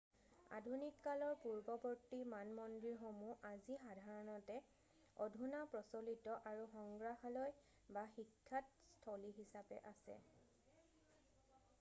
আধুনিক কালৰ পূৰ্বৱৰ্তী মানমন্দিৰসমূহ আজি সাধাৰণতে অধুনা প্ৰচলিত আৰু সংগ্ৰহালয় বা শিক্ষাত স্থলী হিচাপে আছে